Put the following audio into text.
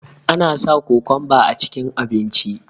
ana sa kokonba a cikin abinci